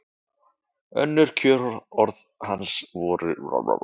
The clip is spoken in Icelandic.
Önnur kjörorð hans voru Hvað veit ég?